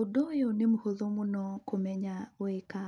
Ũndũ ũyũ nĩ mũhũthũ mũno kũmenya gwĩka,